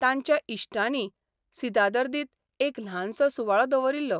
तांच्या इश्टांनी सिदादर्दीत एक ल्हानसो सुवाळो दवरिल्लो.